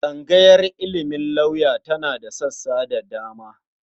Tsangayar ilimin lauya tana da sassa da dama.